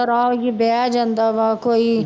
ਆ ਕੇ ਬਹਿ ਜਾਂਦਾ ਵਾ ਕੋਈ